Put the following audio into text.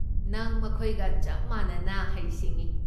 ꯅꯪ ꯃꯈꯣꯏꯒ ꯆꯞ ꯃꯥꯟꯅꯅ ꯍꯩ ꯁꯤꯡꯢ꯫